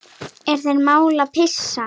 Er þér mál að pissa?